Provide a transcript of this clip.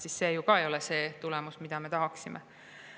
See ju ka ei ole see tulemus, mida me tahaksime.